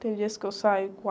Tem dias que eu saio